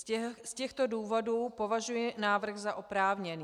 Z těchto důvodů považuji návrh za oprávněný.